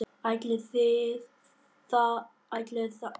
Ætli það yrðu ekki töluverð þyngsli á þeirri teskeið.